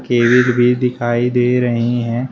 Cable भी दिखाई दे रही हैं।